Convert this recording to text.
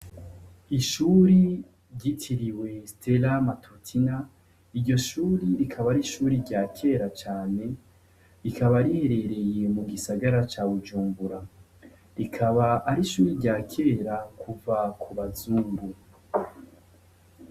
Ishuri ryitiriwe sitera matutina, iryo shuri rikaba ar'ishuri rya kera cane, rikaba riherereye mugisagara ca Bujumbura, rikaba ari ishuri rya kera kuva kubazungu.